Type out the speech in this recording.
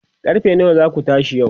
karfe nawa zaku tashi yau?